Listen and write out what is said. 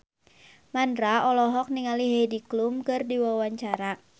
Mandra olohok ningali Heidi Klum keur diwawancara